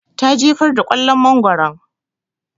Ta jefar da kwallon mangoron